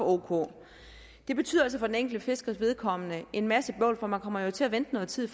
ok det betyder altså for den enkelte fiskers vedkommende en masse bøvl for man kommer jo til at vente noget tid